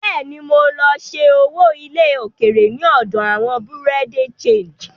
Bẹ́ẹ̀ ni, mo lọ ṣẹ́ owó ilẹ̀ òkèèrè ní ọ̀dọ̀ àwọn Bureau de Change.